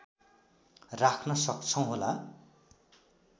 राख्न सक्छौँ होला